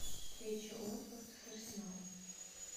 встреча уотфорд с арсеналом